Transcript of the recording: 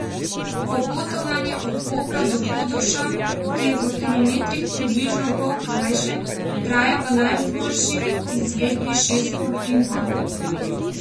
Popotovanje od Kopra do Hodoša, ki je v kilometrih približno pol krajše, traja v najboljši izvedbi šest ur in pol.